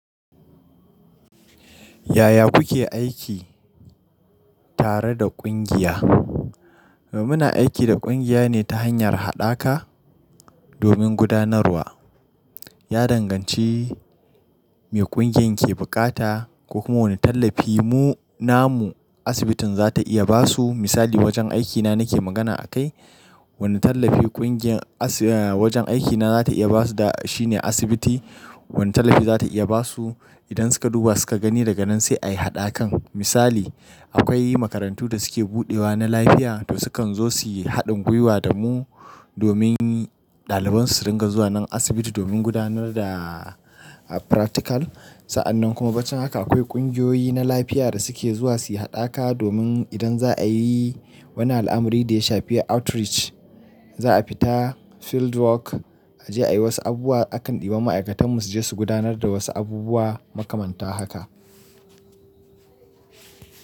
Yaya kuke aiki tare da ƙungiya? Muna aiki da ƙungiya ne ta hanyar haɗaka domin gudanarwa. Ya danganci me ƙungiyar ke buƙata ko kuma wane tallafi mu namu asibitin za ta iya ba su. Misali wajen aikina nake magana a kai, wane tallafi ƙungiyar asibi-- wajen aikina za ta iya ba su da shi ne asibiti wane tallafi za ta iya ba su idan suka duba suka gani da ganin sai a yi haɗakan. Misali akwai makarantu da suke buɗewa na lafiya da sukan zo su yi haɗin gwiwa da mu domin ɗaliban su su ringa zuwa nan asibiti domin gudanar da practical. Sa'annan kuma bacen haka akwai ƙungiyoyi na lafiya da suke zuwa su yi haɗaka domin idan za a yi wani al'amari da ya shafi outreach, za a fita field work a je a yi wasu abubuwa akan ɗeba ma'aikatan mu su je su gudanar da wasu abubuwa makamanta haka.